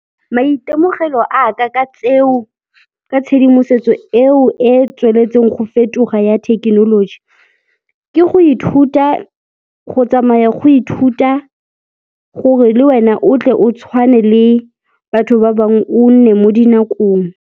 Maitemogelo a ka ka tseo, ka tshedimosetso eo e tsweletseng go fetoga ya thekenoloji, ke go ithuta, go tsamaya go ithuta gore le wena o tle o tshwane le batho ba bangwe, o nne mo dinakong.